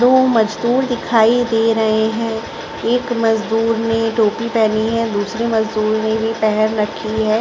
दो मजदूर दिखाई दे रहे हैं एक मजदूर ने टोपी पहनी हैं दूसरे मजदुर ने भी पहन रखी हैं।